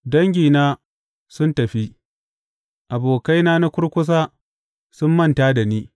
Dangina sun tafi; abokaina na kurkusa sun manta da ni.